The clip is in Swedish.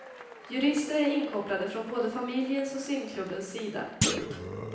Jurister är inkopplade från både familjens och simklubbens sida. punkt